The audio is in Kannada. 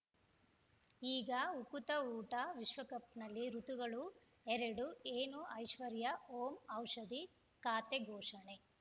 ಈಗ ಉಕುತ ಊಟ ವಿಶ್ವಕಪ್‌ನಲ್ಲಿ ಋತುಗಳು ಎರಡು ಏನು ಐಶ್ವರ್ಯಾ ಓಂ ಔಷಧಿ ಖಾತೆ ಘೋಷಣೆ